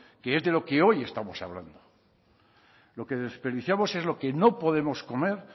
que es de lo que hoy estamos hablando lo que desperdiciamos es lo que no podemos comer